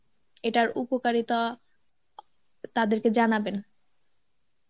এটার উপকারিতা তাদেরকে জানাবেন.